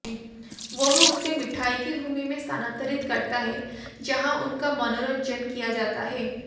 वह उसे मिठाई की भूमि में स्थानांतरित करता है जहां उनका मनोरंजन किया जाता है